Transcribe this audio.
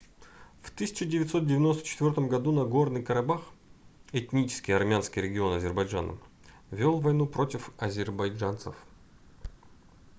в 1994 году нагорный карабах этнически армянский регион азербайджана вёл войну против азербайджанцев